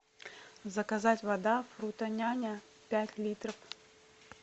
заказать вода фрутоняня пять литров